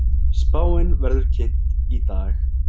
Spáin verður kynnt í dag